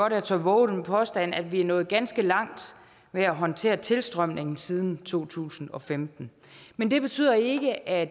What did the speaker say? at jeg tør vove den påstand at vi er nået ganske langt med at håndtere tilstrømningen siden to tusind og femten men det betyder ikke at